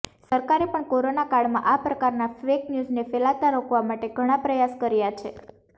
સરકારે પણ કોરોના કાળમાં આ પ્રકારના ફેક ન્યૂઝને ફેલાતા રોકવા માટે ઘણા પ્રયાસ કર્યાં છે